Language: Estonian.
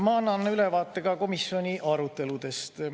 Ma annan ülevaate ka komisjoni aruteludest.